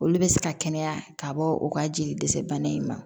Olu bɛ se ka kɛnɛya ka bɔ u ka jeli dɛsɛ bana in ma